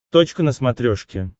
точка на смотрешке